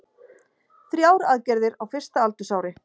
Þrjár aðgerðir á fyrsta aldursári